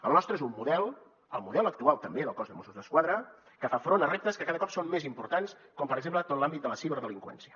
el nostre és un model el model actual també del cos de mossos d’esquadra que fa front a reptes que cada cop són més importants com per exemple tot l’àmbit de la ciberdelinqüència